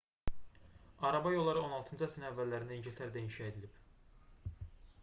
araba yolları 16-cı əsrin əvvəllərində i̇ngiltərədə inşa edilib